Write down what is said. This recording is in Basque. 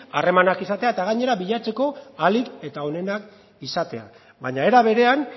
harremanak izatea eta gainera bilatzeko ahalik eta onenak izatea baina era berean